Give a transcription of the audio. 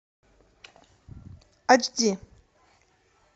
ач ди